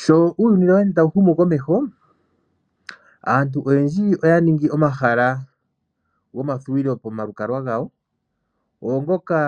Sho uuyuni tawu ende tawu humu komeho aantu oyendji oya ningi omahala gomavululuko pomalukalwa gawo. Oongoka